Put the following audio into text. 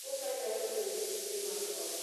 korka achako donje tije mag ot